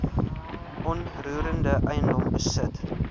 onroerende eiendom besit